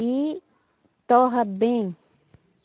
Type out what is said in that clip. E torra bem.